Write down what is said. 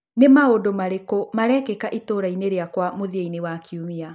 nĩ maũndũ marĩkũ marekĩka itũra-inĩ rĩakwa mũthia-inĩ wa kiumia